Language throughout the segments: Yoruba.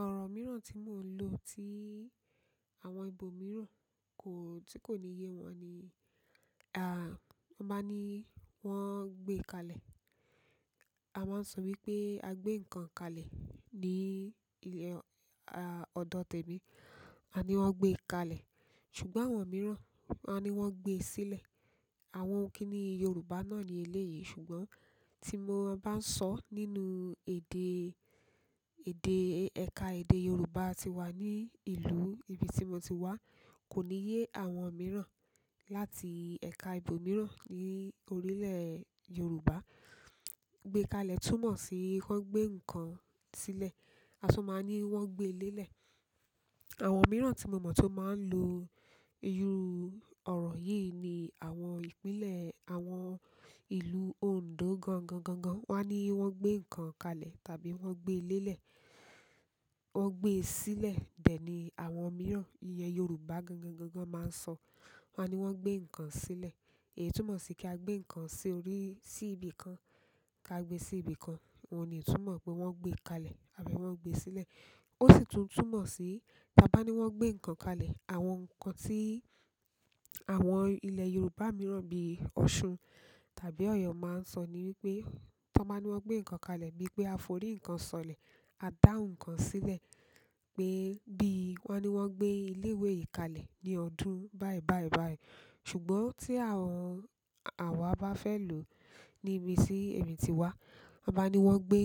Ọ̀rọ̀ mìíràn tí mo ń lò tí àwọn ibo mìíràn kò, tí kò ní yé wọn ni, à, ọ bá ní wọ́n ń gbé kalẹ̀, a máa ń sọ wípé a gbé ǹkan kalẹ̀ ní ilẹ̀, a, ọ̀dọ̀ tẹ̀mi. A ní wọn gbé kalẹ̀, ṣùgbọ́n àwọn mìíràn á ní wọ́n gbe sílẹ̀. Àwọn kíní Yorùbá náà ní eleyìí ṣùgbọ́n tí mo bá ń sọ nínú èdè, èdè, ẹ̀ka èdè Yorùbá tí wà ní ìlú ibi tí mo ti wá, kò ní yé àwọn mìíràn láti ẹ̀ka ibo mìíràn ní orílẹ̀ Yorùbá. Gbé kalẹ̀ túmọ̀ sí kí wọn gbé ǹkan sílẹ̀, a tún máa ní wọ́n gbé lélẹ̀. Àwọn mìíràn tí mo mọ̀ tó máa ń lo irú ọ̀rọ̀ yìí ni àwọn ìpínlẹ̀ àwọn ìlú Òndó gangangangan. Wọ́n á ní wọ́n gbé ǹkan kalẹ̀ tàbí wọ́n gbé lélẹ̀, wọ́n gbé sílẹ̀. Bẹ́ẹ̀ ni àwọn mìíràn, ìyẹn Yorùbá gangangangan máa ń sọ, wọ́n á ní wọ́n gbé ǹkan sílẹ̀. Èyí túmọ̀ sí kí a gbé ǹkan sí orí, sí ibi kan kí a gbé sí ibi kan. O ní túmọ̀ pé wọ́n gbé kalẹ̀ àbí wọ́n gbé sílẹ̀. Ó sì tún túmọ̀ sí tí a bá ní wọ́n gbé ǹkan kalẹ̀, àwọn ǹkan tí àwọn ilẹ̀ Yorùbá mìíràn bí Ọ̀ṣun tàbí Ọ̀yọ́ máa ń sọ ni wípé tó bá ní wọ́n gbé ǹkan kalẹ̀ bíi pé a forí ǹkan sọ̀lẹ̀, a dá òun kan sílẹ̀ pé bí wọ́n ní wọ́n gbé ilé ìwé yìí kalẹ̀ ní ọdún báì báì báì. Ṣùgbọ́n tí àwọn, àwa bá fẹ́ lò níbi tí èmi ti wá, a bá ní wọ́n gbé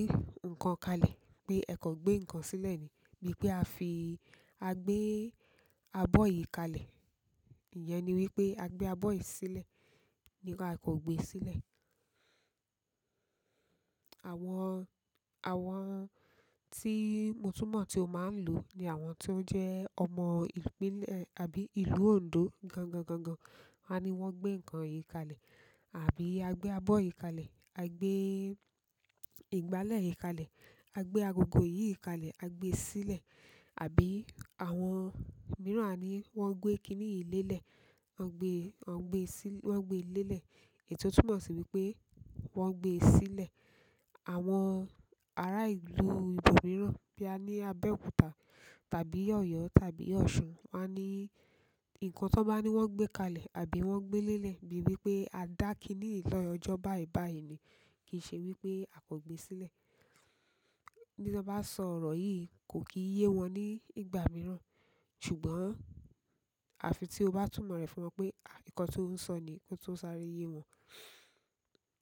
ǹkan kalẹ̀ pé ẹ kan gbé ǹkan sílẹ̀ ni. Bíi pé a fi, a gbé abọ́ yìí kalẹ̀, ìyẹn ni wípé a gbé abọ́ yìí sílẹ̀, ní ká kan gbe sílẹ̀. Àwọn, àwọn tí mo túmọ̀ tí ó máa ń lò ni àwọn tí ó jẹ́ ọmọ ìpínlẹ̀ àbí ìlú Òndó gangangangan. Won a ní wọ́n gbé ǹkan yìí kalẹ̀ àbí a gbé abọ́ yìí kalẹ̀, a gbé ìgbálẹ̀ yìí kalẹ̀, a gbé agogo yìí kalẹ̀, a gbé sílẹ̀. Àbí àwọn mìíràn a ní wọ́n gbé kiní yìí lélẹ̀, wọ́n gbé, wọ́n gbé sí, wọ́n gbé lélẹ̀ èyí tó túmọ̀ sí wípé wọ́n gbé sílẹ̀. Àwọn ará ìlú ibo mìíràn bí a ní Abẹ́òkúta tàbí Ọ̀yọ́ tàbí Ọ̀ṣun won a ní ǹkan tó bá ní wọ́n gbé kalẹ̀ àbí wọ́n gbé lélẹ̀ bíi wípé a dá kiní yìí lọ́jọ́ báì báì ni kìí ṣe wípé a kan gbé sílẹ̀. Bí tó bá sọ ọ̀rọ̀ yìí kò kì í yé wọn ní ìgbà mìíràn. Ṣùgbọ́n àfi tí o bá túmọ̀ rẹ̀ fún wọn pé, à, ǹkan tí ó ń sọ ni yìí ki o to sáré yé wọn.